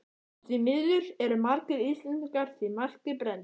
Og því miður eru margir Íslendingar því marki brenndir.